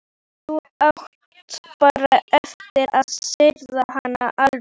Þá áttu bara eftir að sigra hana alveg.